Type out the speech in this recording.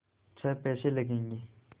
छः पैसे लगेंगे